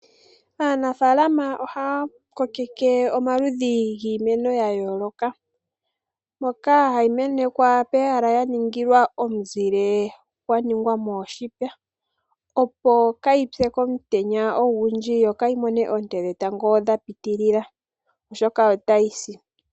Aanafalama ohaa kokeke omaludhi giimeno ya yooloka moka hayi menekwa pehala ya ningilwa omuzile gwa ningwa mooshipe opo kayi pye komutenya ogindji yokayi mone oonte dhetango dha pitilila oshoka otayi si.